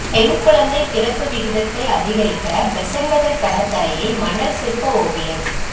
பெண் குழந்தை பிறப்பு விகிதத்தை அதிகரிக்க பெசன்ட்நகர் கடற்கரையில் மணல் சிற்ப ஓவியம்